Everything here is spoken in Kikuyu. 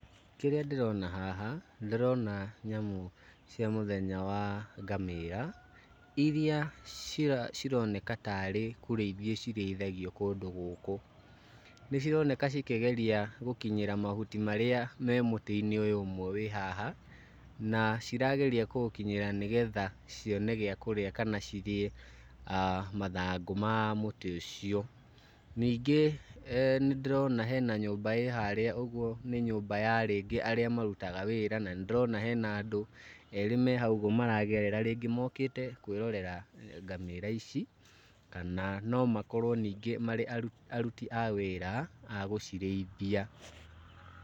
Kĩrĩa ndĩrona haha, ndĩrona nyamũ cia mũthenya wa ngamĩra iria cira cironeka tarĩ kũrĩithio cirĩithagio kũndũ gũkũ. Nĩ cironeka cikĩgeria gũkinyĩra mahuti maria marĩ mũtĩ-inĩ ũyũ ũmwe wĩ haha, na cirageria kũũkĩnyira nĩgetha cione gĩa kũrĩa kana cirĩe mathangũ ma mũtĩ ũcio. Ningĩ nĩ ndĩrona hena nyũmba ĩ harĩa ũguo nĩ nyũmba ya rĩngĩ arĩa marutaga wĩra na nĩ ndĩrona hena andũ erĩ me hau ũguo maragerera rĩngĩ mokĩte kwĩrorera ngamĩra ici kana no makorwo ningĩ marĩ arut aruti a wĩra a gũcirĩithia.